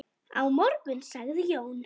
Á morgun sagði Jón.